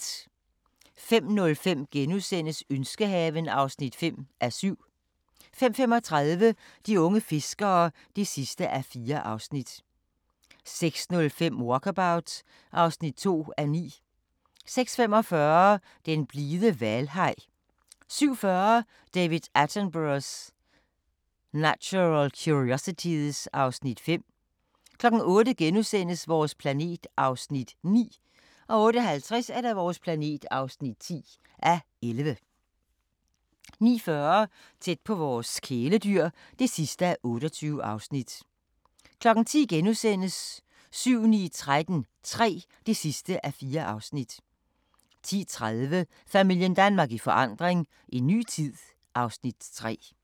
05:05: Ønskehaven (5:7)* 05:35: De unge fiskere (4:4) 06:05: Walkabout (2:9) 06:45: Den blide hvalhaj 07:40: David Attenborough's Natural Curiosities (Afs. 5) 08:00: Vores planet (9:11)* 08:50: Vores planet (10:11) 09:40: Tæt på vores kæledyr (28:28) 10:00: 7-9-13 III (4:4)* 10:30: Familien Danmark i forandring – en ny tid (Afs. 3)